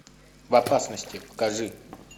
в опасности покажи